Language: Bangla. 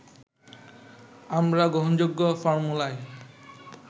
আমরা গ্রহণযোগ্য ফর্মুলায়